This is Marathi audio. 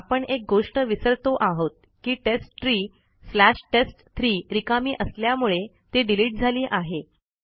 पण आपण एक गोष्ट विसरतो आहोत की टेस्टट्री स्लॅश टेस्ट3 रिकामी असल्यामुळे ती डिलीट झाली आहे